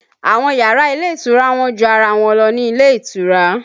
Àwọn yàrá ilé ìtura wọ́n ju ara wọn lọ ní ilé ìtura